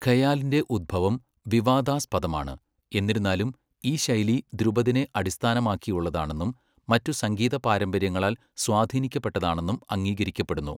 ഖയാലിൻ്റെ ഉത്ഭവം വിവാദാസ്പദമാണ്, എന്നിരുന്നാലും ഈ ശൈലി ധ്രുപദിനെ അടിസ്ഥാനമാക്കിയുള്ളതാണെന്നും മറ്റ് സംഗീത പാരമ്പര്യങ്ങളാൽ സ്വാധീനിക്കപ്പെട്ടതാണെന്നും അംഗീകരിക്കപ്പെടുന്നു.